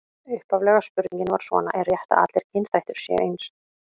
Upphaflega spurningin var svona: Er rétt að allir kynþættir séu eins?